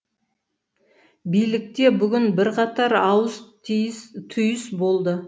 билікте бүгін бірқатар ауыс түйіс болды